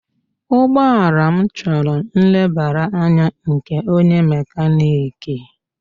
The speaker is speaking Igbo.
Ụgbọala m chọrọ nlebara anya nke onye mekaniki